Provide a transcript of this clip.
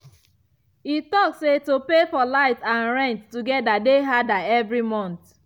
e talk say to pay for light and rent together dey harder every month.